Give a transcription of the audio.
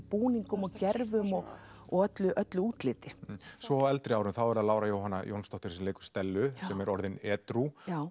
búningum og og öllu öllu útliti svo á eldri árum þá er það Lára Jóhanna Jónsdóttir sem leikur Stellu sem er orðin edrú